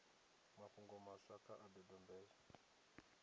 mafhungo maswa kha a dodombedzwe